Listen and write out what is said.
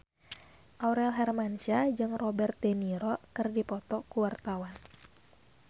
Aurel Hermansyah jeung Robert de Niro keur dipoto ku wartawan